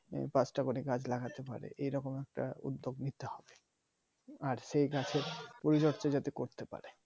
পাঁচটা করে গাছ লাগাতে হবে এরকম একটা উদ্যোগ নিতে হবে আর সেই গাছের পরিবেশটা যাতে করতে পারে